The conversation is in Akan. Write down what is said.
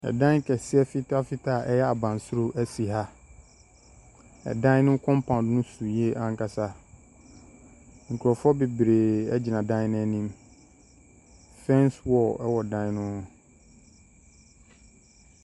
Dan kɛseɛ fitafita a ɛyɛ abansoro si ha. Ɛdan no compound no so yie ankasa. Nkurɔfoɔ bebree gyina dan no anim. Fence wall wɔ dan no ho.